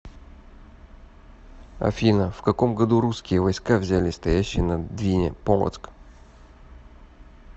афина в каком году русские войска взяли стоящий на двине полоцк